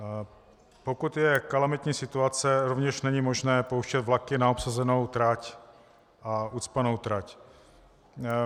Pokud je kalamitní situace, rovněž není možné pouštět vlaky na obsazenou trať a ucpanou trať.